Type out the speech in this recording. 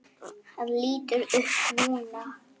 Hann lítur upp núna.